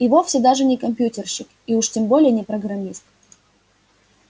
и вовсе даже не компьютерщик и уж тем более не программист